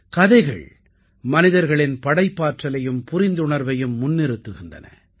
கதைகள் மனிதர்களின் படைப்பாற்றலையும் புரிந்துணர்வையும் முன்னிறுத்துகின்றன